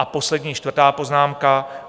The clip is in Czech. A poslední, čtvrtá poznámka.